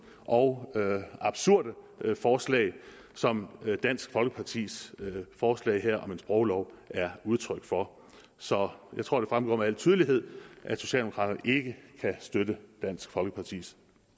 og absurde forslag som dansk folkepartis forslag her om en sproglov er udtryk for så jeg tror det fremgår med al tydelighed at socialdemokraterne ikke kan støtte dansk folkepartis